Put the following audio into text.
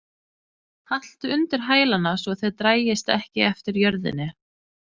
Haltu undir hælana svo þeir dragist ekki eftir jörðinni.